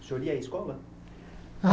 O senhor ia à escola? A